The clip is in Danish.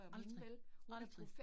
Aldrig, aldrig